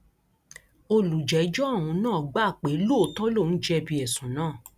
olùjẹjọ ọhún náà gbà pé lóòótọ lòun jẹbi ẹsùn náà